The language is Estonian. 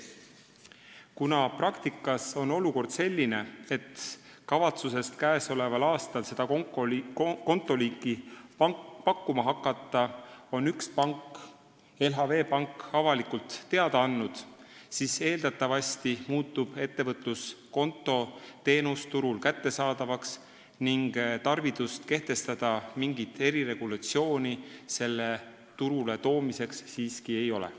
Kuna praktikas on olukord selline, et kavatsusest käesoleval aastal seda kontoliiki pakkuma hakata on üks pank, LHV Pank, avalikult teada andnud, siis eeldatavasti muutub ettevõtluskonto teenus turul kättesaadavaks ning tarvidust kehtestada mingit eriregulatsiooni selle turule toomiseks siiski ei ole.